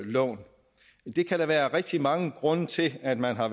lån det kan der være rigtig mange grunde til at man har